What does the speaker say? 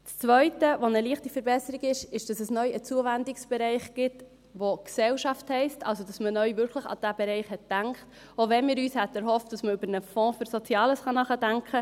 Die zweite leichte Verbesserung ist, dass es neu einen Zuwendungsbereich gibt, der «Gesellschaft» heisst, also, dass man neu wirklich an diesen Bereich gedacht hat, auch wenn wir uns erhofft hätten, dass man über einen Fonds für Soziales nachdenkt.